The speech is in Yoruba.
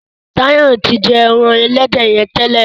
Tayo tí jé èràn elédè yén tẹlẹ.